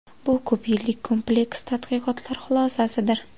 Bu ko‘p yillik kompleks tadqiqotlar xulosasidir.